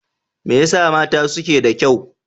Me yasa mata suke da kyau?